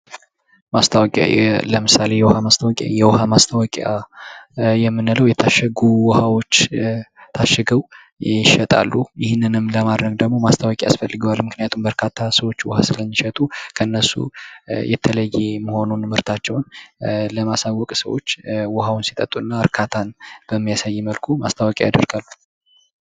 ማስታወቂያ:-ለምሳሌ የውኋ ማስታወቂያ የውኃ ማስታወቂያ የምንለው የታሸጉ ውኋዎች ታሽገው ይሸጣሉ ይኽንንም ለማድረግ ደግሞ ማስታወቂያ ያስፈልገዋል። ምክንያቱም በርካታ ሰዎች ውኋ ስለሚሸጡ ከእነሱ የተለየ መሆኑን ምርታቸውን ለማሳወቅ ሰዎች ውኃውን ሲጠጡ እና እርካታን በሚያሳይ መልኩ ማስታወቂያ ያደርጋሉ።